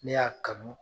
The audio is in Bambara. Ne y'a kanu